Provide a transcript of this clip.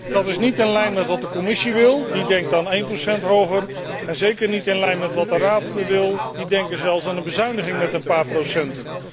Dat is niet in lijn met wat de Commissie wil, die denkt aan 1 procent hoger, en zeker niet in lijn met wat de Raad wil, die denkt zelfs aan een bezuiniging met een paar procent.